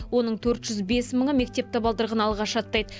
оның төрт жүз бес мыңы мектеп табалдырығын алғаш аттайды